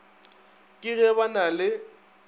ke ge ba na le